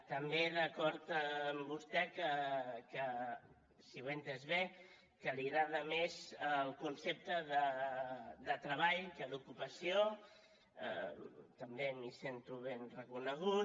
també d’acord amb vostè que si ho he entès bé li agrada més el concepte de treball que el d’ ocupació també m’hi sento ben reconegut